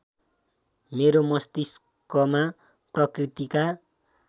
मेरो मस्तिष्कमा प्रकृतिका